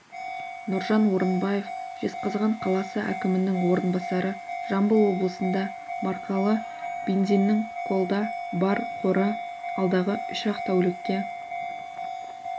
нұржан орынбаев жезқазған қаласы әкімінің орынбасары жамбыл облысында маркалы бензиннің қолда бар қоры алдағы үш-ақ тәулікке